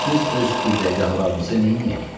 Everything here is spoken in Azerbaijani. Pəs biz öz qibləgahlarımızı neyləyək?